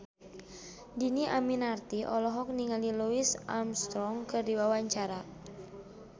Dhini Aminarti olohok ningali Louis Armstrong keur diwawancara